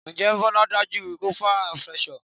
Njẹ́ Bola ń dojú kọ peer pressure?